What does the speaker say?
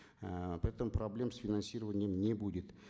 эээ поэтому проблем с финансированием не будет